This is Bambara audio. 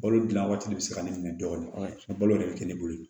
Balo dilan waati de bɛ se ka nege minɛ dɔɔni balo de bɛ kɛ ne bolo